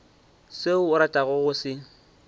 seo a ratago go se